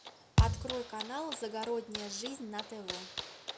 открой канал загородная жизнь на тв